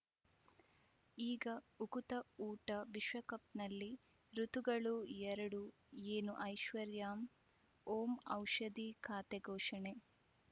ಈಗ ಉಕುತ ಊಟ ವಿಶ್ವಕಪ್‌ನಲ್ಲಿ ಋತುಗಳು ಎರಡು ಏನು ಐಶ್ವರ್ಯಾಂ ಓಂ ಔಷಧಿ ಖಾತೆ ಘೋಷಣೆ